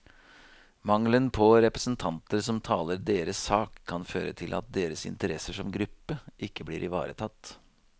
Mangelen på representanter som taler deres sak, kan føre til at deres interesser som gruppe ikke blir ivaretatt.